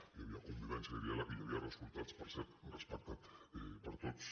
hi havia convivència i diàleg i hi havia resultats per cert respectats per tots